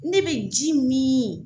Ne be ji min